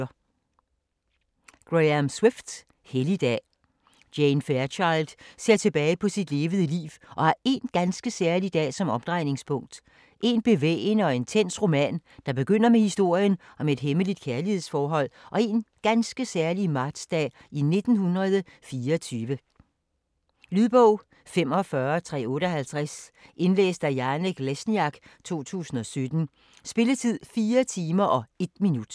Swift, Graham: Helligdag Jane Fairchild ser tilbage på sit levede liv, som har én ganske særlig dag som omdrejningspunkt. En bevægende og intens roman, der begynder med historien om et hemmeligt kærlighedsforhold og én ganske særlig martsdag i 1924. Lydbog 45358 Indlæst af Janek Lesniak, 2017. Spilletid: 4 timer, 1 minut.